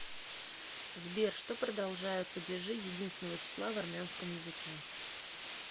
сбер что продолжают падежи единственного числа в армянском языке